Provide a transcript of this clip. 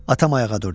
Atam ayağa durdu.